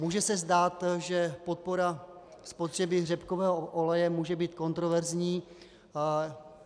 Může se zdát, že podpora spotřeby řepkového oleje může být kontroverzní.